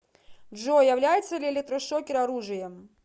джой является ли электрошокер оружием